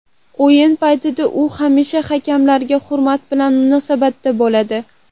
O‘yin paytida u hamisha hakamlarga hurmat bilan munosabatda bo‘ladi.